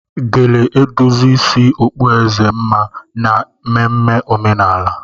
Gele edozi isi okpueze mma na ememe omenala